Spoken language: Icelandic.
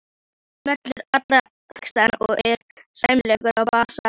Hann semur alla texta og er sæmilegur á bassa.